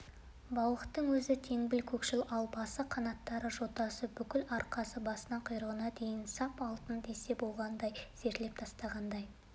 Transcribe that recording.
балықтың өзі теңбіл-көкшіл ал басы қанаттары жотасы бүкіл арқасы басынан құйрығына дейін саф алтын десе болғандай зерлеп тастағандай